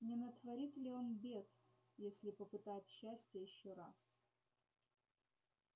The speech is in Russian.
не натворит ли он бед если попытает счастья ещё раз